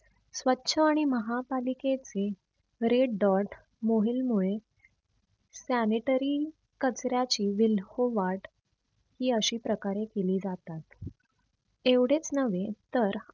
स्वछ आणि महा पालिकेचे red dot मोहीलमुळे Sanitary कचऱ्याची विल्होवात ही अशी प्रकारे केली जातात. एवढेच नव्हे तर